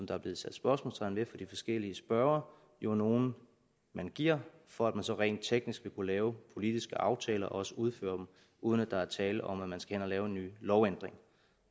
der er blevet sat spørgsmålstegn ved af de forskellige spørgere jo er nogle man giver for at man så rent teknisk vil kunne lave politiske aftaler og også udføre dem uden at der er tale om at man skal ind og lave en ny lovændring